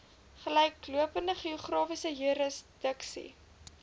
gelyklopende geografiese jurisdiksie